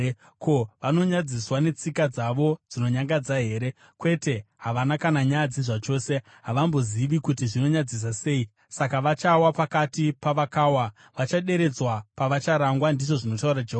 Ko, vanonyadziswa netsika dzavo dzinonyangadza here? Kwete, havana kana nyadzi zvachose; havambozivi kuti zvinonyadzisa sei. Saka vachawa pakati pavakawa; vachaderedzwa pavacharangwa, ndizvo zvinotaura Jehovha.